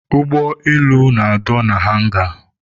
Ụgbọelu na-adọ na hanga.